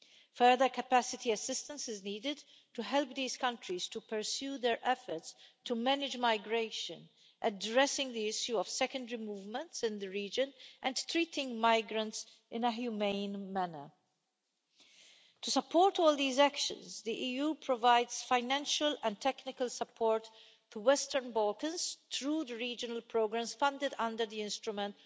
Further capacity assistance is needed to help these countries to pursue their efforts to manage migration, addressing the issue of secondary movements in the region and treating migrants in a humane manner. To support all these actions, the EU provides financial and technical support to the Western Balkans through the regional programmes funded under the Instrument